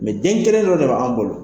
den dɔ de be an bolo